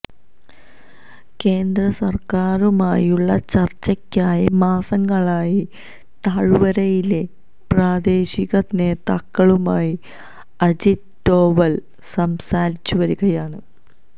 കേന്ദ്രസര്ക്കാരുമായുള്ള ചര്ച്ചയ്ക്കായി മാസങ്ങളായി താഴ്വരയിലെ പ്രാദേശിക നേതാക്കളുമായി അജിത് ഡോവല് സംസാരിച്ചുവരികയാണ്